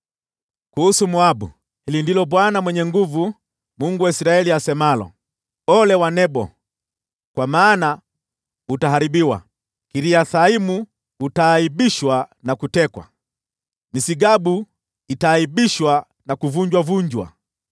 Kuhusu Moabu: Hili ndilo Bwana Mwenye Nguvu Zote, Mungu wa Israeli, asemalo: “Ole wake Nebo, kwa maana utaharibiwa. Kiriathaimu utaaibishwa na kutekwa; Misgabu itaaibishwa na kuvunjavunjwa.